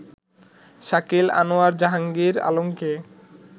শাকিল আনোয়ার জাহাঙ্গীর আলমকে